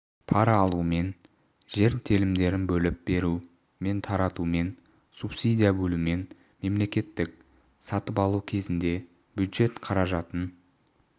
пара алумен жер телімдерін бөліп беру мен таратумен субсидия бөлумен мемсатып алу кезінде бюджет қаражатын